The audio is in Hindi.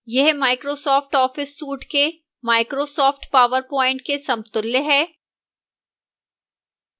यह microsoft office suite के microsoft powerpoint के समतुल्य है